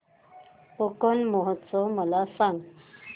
कोकण महोत्सव मला सांग